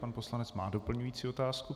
Pan poslanec má doplňující otázku.